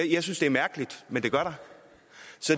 jeg synes det er mærkeligt men det gør